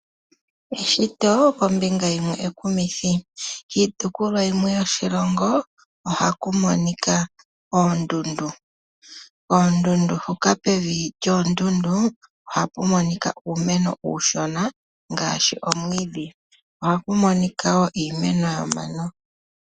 Eshito kombinga yimwe ekumithi. Kiitopolwa yimwe yoshilongo ohaku monika oondundu . Pevi lyoondundu ohapu monika uumeno uushona ngaashi omwiidhi. Ohaku monika woo iimeno yomano.